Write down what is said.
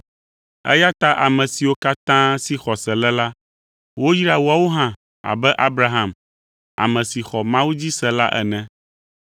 Eya ta ame siwo katã si xɔse le la, woyra woawo hã abe Abraham, ame si xɔ Mawu dzi se la ene.